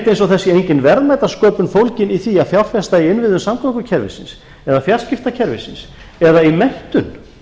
eins og það sé engin verðmætasköpun fólgin í því að fjárfesta í innviðum samgöngukerfisins eða fjarskiptakerfisins eða í menntun